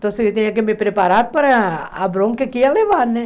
Então, eu tinha que me preparar para a bronca que ia levar, né?